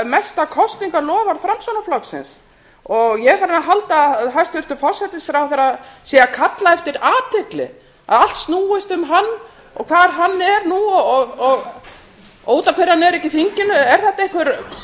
mesta kosningaloforð framsóknarflokksins ég er farin að halda að hæstvirtur forsætisráðherra sé að kalla eftir athygli að allt snúist um hann hvar hann sé og út af hverju hann sé ekki í þinginu er þetta einhver athyglissýki sem háir